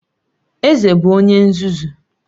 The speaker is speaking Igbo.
Eze bụ onye nzuzu